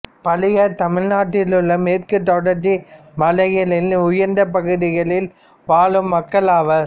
பளியர் தமிழ்நாட்டிலுள்ள மேற்குத் தொடர்ச்சி மலைகளின் உயர்ந்தப் பகுதிகளில் வாழும் மக்கள் ஆவார்